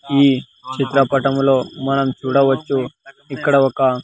ఈ చిత్రపటములో మనం చూడవచ్చు ఇక్కడ ఒక--